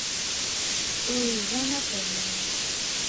луизе анатольевне